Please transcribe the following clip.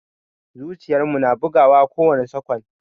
Zuciyar mu na bugawa kowani sakwan.